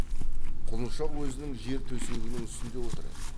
құлыншақ өзінің жер төсегінің үстінде отыр еді